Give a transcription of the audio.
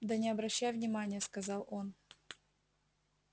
да не обращай внимание сказал он